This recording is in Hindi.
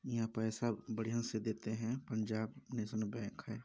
यहाँ पैसा बढ़िया से देते हैं पंजाब नेशनल बैंक हैं।